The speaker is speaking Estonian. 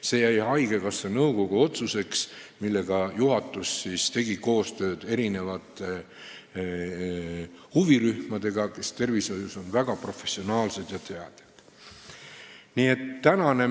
See jäi haigekassa nõukogu otsuseks, juhatus tegi siis koostööd huvirühmadega, kes on tervishoius väga professionaalsed ja teadjad.